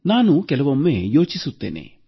ನಾನು ಕೆಲವೊಮ್ಮೆ ಯೋಚಿಸುತ್ತೇನೆ